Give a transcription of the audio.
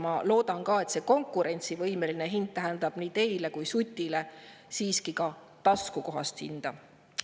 Ma loodan, et konkurentsivõimeline hind tähendab nii teile kui ka Sutile siiski taskukohast hinda.